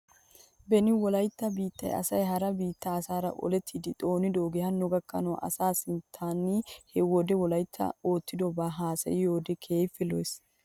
Beni wolaytta biittaa asay hara biittaa asaara olettidi xoonidoogee hanno gakkanaw asaa sinttan he wode wolaytti oottidobaa haasayiyoode keehippe lo'es.